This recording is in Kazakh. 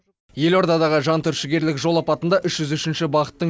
елордадағы жантүршігерлік жол апатында үш жүз үшінші бағыттың